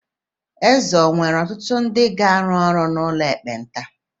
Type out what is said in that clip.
Eze ọ̀ were ọtụtụ ndị ga-arụ ọrụ n'ụlọ ekpenta?